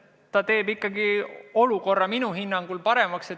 See teeb olukorra minu hinnangul ikkagi paremaks.